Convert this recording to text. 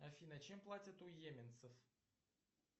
афина чем платят у йеменцев